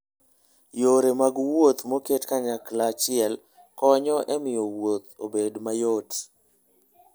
Yore mag wuoth moket kanyachiel konyo e miyo wuoth obed mayot.